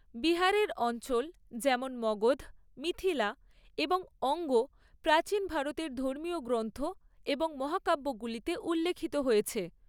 বিহারের অঞ্চল যেমন মগধ, মিথিলা এবং অঙ্গ প্রাচীন ভারতের ধর্মীয় গ্রন্থ এবং মহাকাব্যগুলিতে উল্লেখিত হয়েছে।